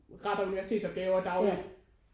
Retter universitetsopgaver dagligt